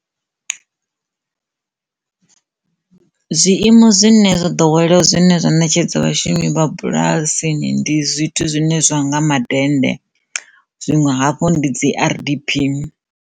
Zwiimo zwine zwo ḓowelea zwone zwine zwa netshedzwa vhashumi vha bulasi ndi zwithu zwine zwa nga madennde zwiṅwe hafhu ndi dzi R_D_P.